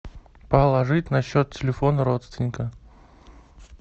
положить на счет телефона родственника